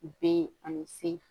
Ben ani c